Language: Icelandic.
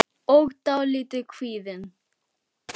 og dálítið kvíðin.